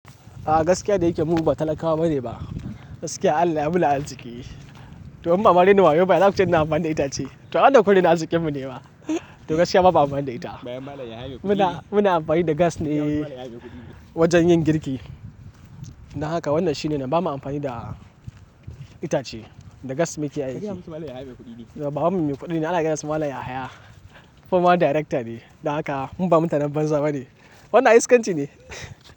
Gaskiya da yake mu ba talakawa bane ba. Gaskiya Allah ya mana arziki. To in ba ma rainin wayau ba ya zaku ce ina amfani da itace? To, ai wannan kun raina arzikin mu ne ma. To, gaskiya bamu amfani da ita. Muna amfani da gas ne wajen yin girki. Don haka wannan shi ne na ba mu amfani da itace da gas muke aiki. Babanmu mai kuɗi ne, ana kiransa Malam Yahaya. Former darekta ne. Don haka mu ba mutanen banza ba ne. Wannan ai iskanci ne.